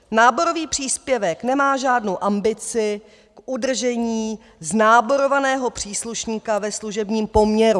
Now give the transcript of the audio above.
Náborový příspěvek nemá žádnou ambici k udržení znáborovaného příslušníka ve služebním poměru.